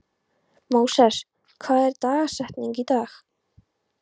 Móses, hver er dagsetningin í dag?